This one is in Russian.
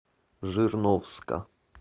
жирновска